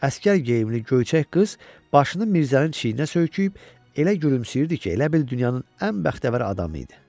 Əsgər geyimli göyçək qız başını Mirzənin çiyninə söyküyüb elə gülümsəyirdi ki, elə bil dünyanın ən bəxtəvər adamı idi.